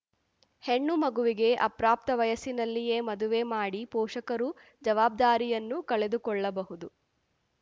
ಹೆಣ್ಣು ಮಗುವಿಗೆ ಅಪ್ರಾಪ್ತ ವಯಸ್ಸಿನಲ್ಲಿಯೇ ಮದುವೆ ಮಾಡಿ ಪೋಷಕರು ಜವಾಬ್ದಾರಿಯನ್ನು ಕಳೆದು ಕೊಳ್ಳಬಹುದು